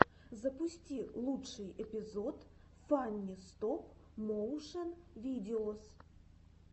запусти лучший эпизод фанни стоп моушен видеос